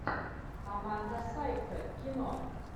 аманда сайфред кино